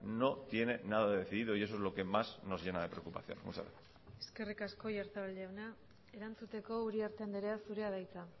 no tiene nada decidido y eso es lo que más nos llena de preocupación muchas gracias eskerrik asko oyarzabal jauna erantzuteko uriarte andrea zurea da hitza